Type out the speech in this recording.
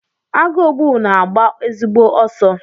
Agụogbu na-agba ezigbo ọsọ.